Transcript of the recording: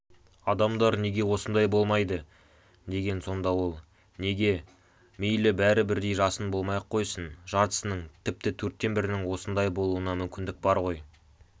адамдар неге осындай болмайды деген сонда ол неге мейлі бәрі бірдей жасын болмай-ақ қойсын жартысының тіпті төрттен бірінің осындай болуына мүмкіндік бар ғой